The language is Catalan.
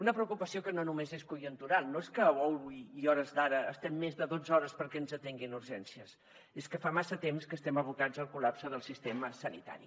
una preocupació que no només és conjuntural no és que avui a hores d’ara estem més de dotze hores perquè ens atenguin a urgències és que fa massa temps que estem abocats al col·lapse del sistema sanitari